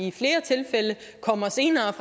i flere tilfælde kommer senere